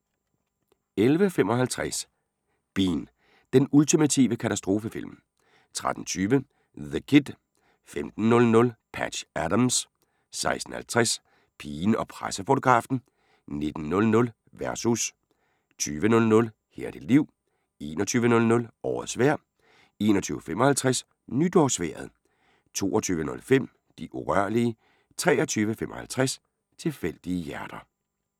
11:55: Bean – den ultimative katastrofefilm 13:20: The Kid 15:00: Patch Adams 16:50: Pigen og pressefotografen 19:00: Versus 20:00: Her er dit liv 21:00: Årets vejr 21:55: NytårsVejret 22:05: De urørlige 23:55: Tilfældige hjerter